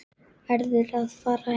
Verður að fara heim.